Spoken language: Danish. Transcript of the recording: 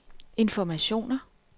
informationer